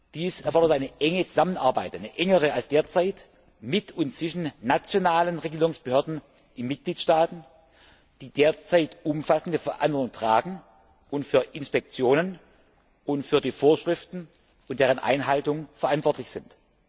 Dies erfordert eine enge Zusammenarbeit, eine engere als derzeit mit und zwischen nationalen Regelungsbehörden in Mitgliedstaaten, die derzeit umfassende Verantwortung tragen und für Inspektionen und für die Vorschriften und deren Einhaltung verantwortlich sind.